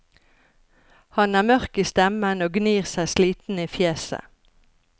Han er mørk i stemmen og gnir seg sliten i fjeset.